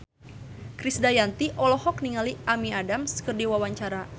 Krisdayanti olohok ningali Amy Adams keur diwawancara